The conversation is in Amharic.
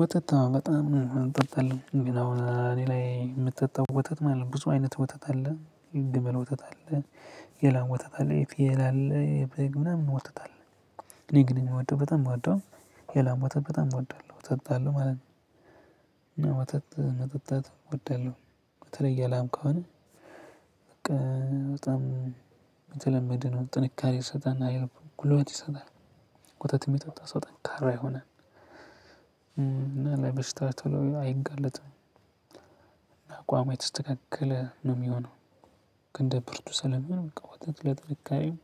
ወተት አዎ በጣም እንጠጣለን ግን አሁን እኔ ላይ ምጠጣው ወተት ማለት ነው ብዙ አይነት ወተት አለ የግመል ወተት አለ የላም ወተት አለ የፍየል አለ የበግ ምናምን ወተት አለ። እኔ ግን የምወደው በጣም ምወደው የላም ወተት በጣም እወዳለሁ እጠጣለሁ ማለት ነው። እና ወተት መጠጣት እወዳለሁ በተለይ የላም ከሆነ በቃ በጣም የተለመደ ነው ጥንካሬ ይሰጣናል ጉልበት ይሰጣል። ወተት የሚጠጣ ሰው ጠንካራ ይሆናል እ እና ለበሽታ ቶሎ አይጋለጥም። አቋሙ የተስተካከለ ነው የሚሆነው። ግን ብርቱ ሰለሚሆን በቃ ወተት ለጥንካሬም